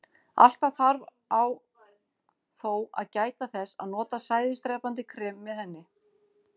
Alltaf þarf á þó að gæta þess að nota sæðisdrepandi krem með henni.